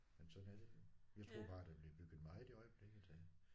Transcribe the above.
Men sådan er det jo. Jeg troede bare der blev bygget meget i øjeblikket af